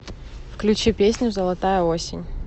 включи песню золотая осень